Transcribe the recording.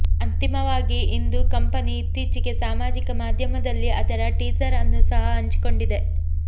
ಅಂತಿಮವಾಗಿ ಇಂದು ಕಂಪನಿ ಇತ್ತೀಚೆಗೆ ಸಾಮಾಜಿಕ ಮಾಧ್ಯಮದಲ್ಲಿ ಅದರ ಟೀಸರ್ ಅನ್ನು ಸಹ ಹಂಚಿಕೊಂಡಿದೆ